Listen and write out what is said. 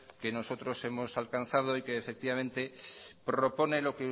que nosotros hemos alcanzado y que efectivamente propone lo